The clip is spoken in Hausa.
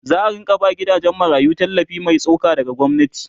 za'a rinka ba gidajen marayu tallafi Mai tsoka daga gwamnati